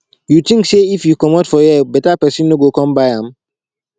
you think say if you commot for here better person no go come buy am